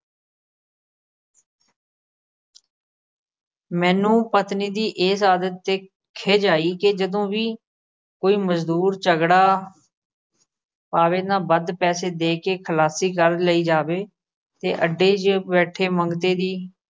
ਮੈਨੂੰ ਪਤਨੀ ਦੀ ਇਸ ਆਦਤ ਤੇ ਖਿਝ ਆਈ ਕਿ ਜਦੋਂ ਵੀ ਕੋਈ ਮਜ਼ਦੂਰ ਝਗੜਾ ਪਾਵੇ ਤਾਂ ਵੱਧ ਪੈਸੇ ਦੇ ਕੇ ਖਲਾਸੀ ਕਰ ਲਈ ਜਾਵੇ ਤੇ ਅੱਡੇ 'ਚ ਬੈਠੇ ਮੰਗਤੇ ਦੀ